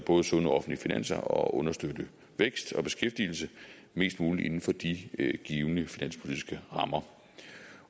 sunde offentlige finanser og at understøtte vækst og beskæftigelse mest muligt inden for de givne finanspolitiske rammer